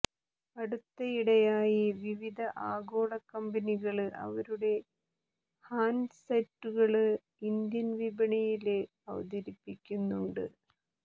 അടുത്തിടെയായി വിവിധ ആഗോള കമ്പനികള് അവരുടെ ഹാന്ഡ്സെറ്റുകള് ഇന്ത്യന് വിപണിയില് അവതരിപ്പിക്കുന്നുണ്ട്